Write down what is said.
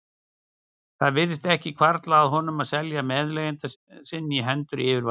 Það virtist ekki hvarfla að honum að selja meðleigjanda sinn í hendur yfirvalda.